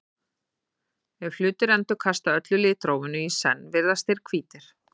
ef hlutir endurkasta öllu litrófinu í senn virðast þeir hvítir